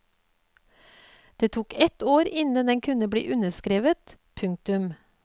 Det tok et år innen den kunne bli underskrevet. punktum